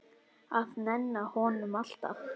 Að nenna honum, alltaf.